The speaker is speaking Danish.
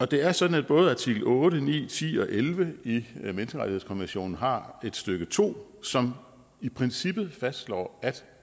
det er sådan at både artikel otte ni ti og elleve i menneskerettighedskonventionen har et stykke to som i princippet fastslår at